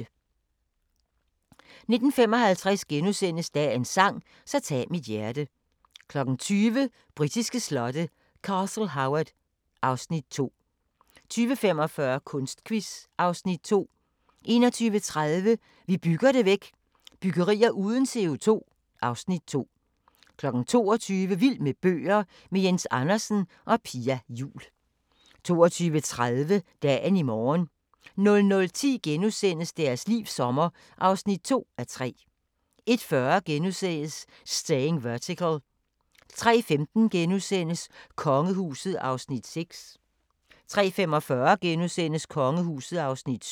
19:55: Dagens sang: Så tag mit hjerte * 20:00: Britiske slotte: Castle Howard (Afs. 2) 20:45: Kunstquiz (Afs. 2) 21:30: Vi bygger det væk – Byggerier uden CO2 (Afs. 2) 22:00: Vild med bøger – med Jens Andersen og Pia Juul 22:30: Dagen i morgen 00:10: Deres livs sommer (2:3)* 01:40: Staying Vertical * 03:15: Kongehuset (Afs. 6)* 03:45: Kongehuset (Afs. 7)*